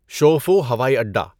شؤفو ہوائی اڈا